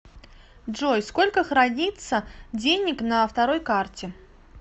джой сколько хранится денег на второй карте